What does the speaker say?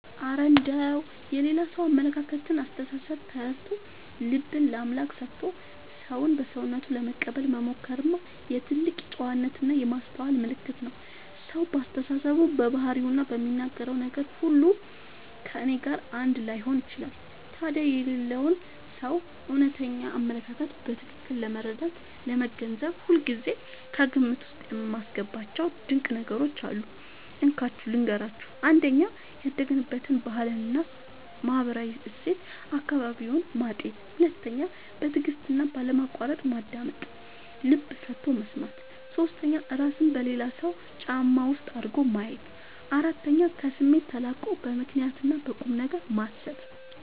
እረ እንደው የሌላ ሰውን አመለካከትና አስተሳሰብ ተረድቶ፣ ልብን ለአምላክ ሰጥቶ ሰውን በሰውነቱ ለመቀበል መሞከርማ የትልቅ ጨዋነትና የማስተዋል ምልክት ነው! ሰው በአስተሳሰቡ፣ በባህሪውና በሚናገረው ነገር ሁሉ ከእኔ ጋር አንድ ላይሆን ይችላል። ታዲያ የሌላውን ሰው እውነተኛ አመለካከት በትክክል ለመረዳትና ለመገንዘብ ሁልጊዜ ከግምት ውስጥ የማስገባቸው ድንቅ ነገሮች አሉ፤ እንካችሁ ልንገራችሁ - 1. ያደገበትን ባህልና ማህበራዊ እሴት (አካባቢውን) ማጤን 2. በትዕግስትና ባለማቋረጥ ማዳመጥ (ልብ ሰጥቶ መስማት) 3. እራስን በሌላው ሰው ጫማ ውስጥ አድርጎ ማየት 4. ከስሜት ተላቆ በምክንያትና በቁምነገር ማሰብ